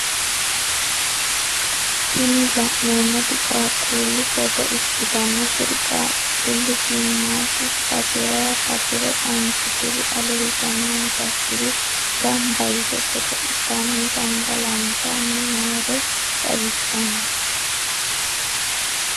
Tini la'neemoti qaaqquullu footo ikkitanna kuri qaaqquulli shimaadu batirayi batire ontu diri ale higannonsakkiri gamba yite godo'litanni gangalantanni noore xawissanno.